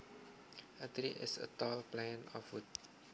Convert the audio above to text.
A tree is a tall plant of wood